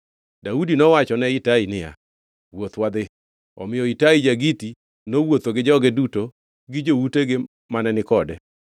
Daudi nowachone Itai niya, “Wuoth wadhi.” Omiyo Itai ja-Giti nowuotho gi joge duto gi joutegi mane ni kode.